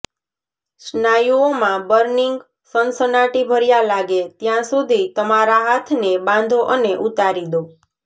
સ્નાયુઓમાં burning સનસનાટીભર્યા લાગે ત્યાં સુધી તમારા હાથને બાંધો અને ઉતારી દો